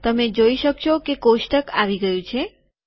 તમે જોઈ શકશો કે કોષ્ટક આવી ગયું છે